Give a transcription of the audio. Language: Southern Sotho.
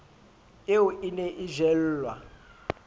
eo e ne e jellwa